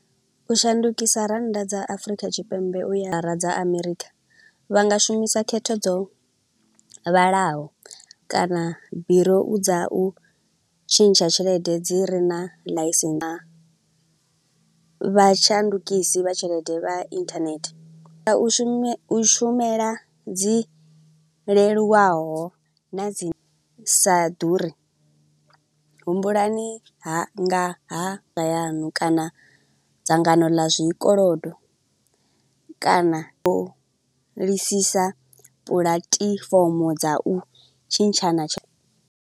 U shandukisa rannda dza Afrika Tshipembe uya ra dza Amerikha, vha nga shumisa khetho dzo vhalaho, kana birou dza u tshintsha tshelede dzi re na ḽise, na vha tshandukisi vha tshelede vha internet. U shume, u shumela dzi leluwaho na dzi sa ḓuri, humbulani ha nga ha yanu kana dzangano ḽa zwikolodo kana, u lisisa puḽatifomo dza u tshintshana tsho.